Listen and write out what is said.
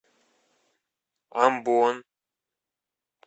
амбон